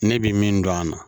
Ne bi min dɔn a la